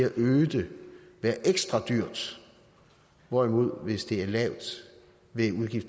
at øge det være ekstra dyrt hvorimod det hvis det er lavt vil